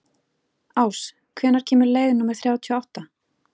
Ás, hvenær kemur leið númer þrjátíu og átta?